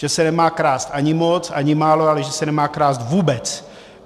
Že se nemá krást ani moc, ani málo, ale že se nemá krást vůbec.